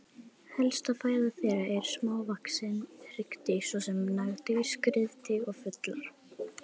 Helsta fæða þeirra eru smávaxin hryggdýr svo sem nagdýr, skriðdýr og fuglar.